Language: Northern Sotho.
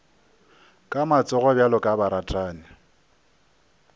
ka matsogo bjalo ka baratani